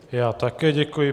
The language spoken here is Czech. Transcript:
Já také děkuji.